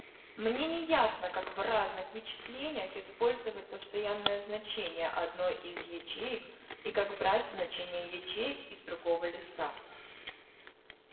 мне не ясно как в разных вычислениях использовать постоянное значение одной из ячеек и как брать значения ячеек из другого листа